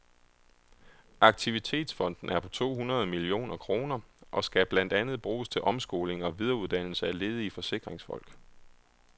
Aktivitetsfonden er på to hundrede millioner kroner, og skal blandt andet bruges til omskoling og videreuddanelse af ledige forsikringsfolk.